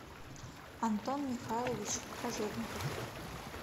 антон михайлович кожевников